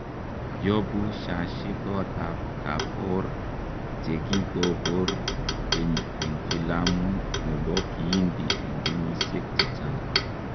Yobu Shashi koot ab Kapoor chegi gobur keny en filamu chebo kihindi en kenyisiek chechang.